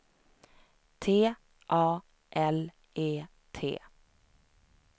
T A L E T